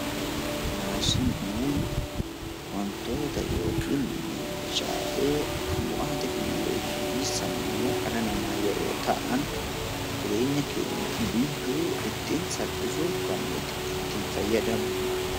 Maashinoonni wantoota yookaan meeshaalee bu'aa teekinooloojii fi sammuu namaa yeroo ta'an jireenya keenya guyyuu ittiin fayyadamnudha .